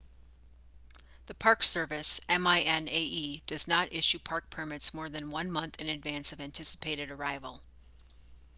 the park service minae does not issue park permits more than one month in advance of anticipated arrival